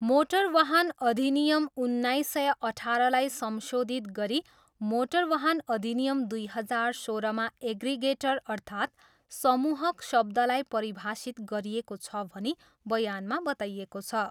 Motor वाहन अधिनियम उन्नाइस सय अठारलाई संशोधित गरी मोटर वाहन अधिनियम दुई हजार सोह्र मा एग्रिगेटर अर्थात् समूहक शब्दलाई परिभाषित गरिएको छ भनी बयानमा बताइएको छ।